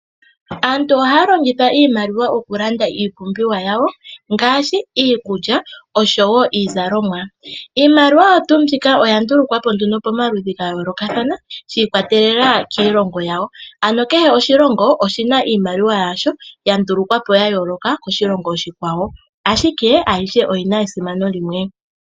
Aantu ohaya longitha iimaliwa okulanda iipumbiwa yawo ngaashi iikulya oshowo iizalomwa. Iimaliwa oya ndulukwapo nduno pomaludhi ga yoolokathana shi ikwatelela kiilongo yawo ano kehe oshilongo oshina iimaliwa yasho ya ndulukwapo ya yooloka koshilongo oshikwawo, ashike ayihe oyina esimano limwe.